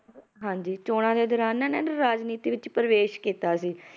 ਹਾਂਜੀ ਚੌਣਾਂ ਦੇ ਦੌਰਾਨ ਨਾ ਇਹਨਾਂ ਨੇ ਰਾਜਨੀਤੀ ਵਿੱਚ ਪ੍ਰਵੇਸ ਕੀਤਾ ਸੀ,